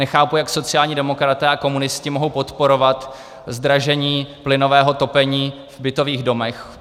Nechápu, jak sociální demokraté a komunisti mohou podporovat zdražení plynového topení v bytových domech.